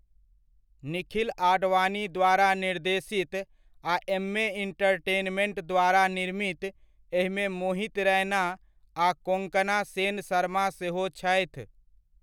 निखिल आडवाणी द्वारा निर्देशित आ एम्मे एंटरटेनमेंट द्वारा निर्मित, एहिमे मोहित रैना आ कोंकणा सेन शर्मा सेहो छथि।